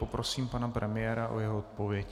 Poprosím pana premiéra o jeho odpověď.